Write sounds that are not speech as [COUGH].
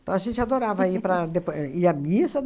Então, a gente adorava [LAUGHS] ir para depo ir à missa.